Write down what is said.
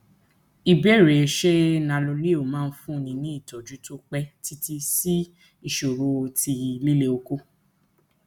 ìbéèrè ṣé nanoleo máa fúnni ní ojútùú tó pẹ títí sí ìṣòro ti lile oko